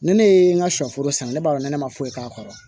Ni ne ye n ka sɔ foro san ne b'a dɔn ne ma foyi k'a kɔrɔ wa